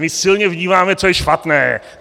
My silně vnímáme, co je špatné.